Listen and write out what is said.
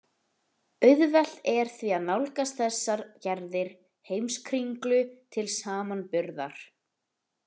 Auðvelt er því að nálgast þessar gerðir Heimskringlu til samanburðar.